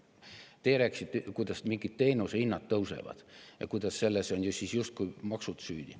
Teie rääkisite, kuidas mingid teenusehinnad tõusevad ja kuidas selles on justkui maksud süüdi.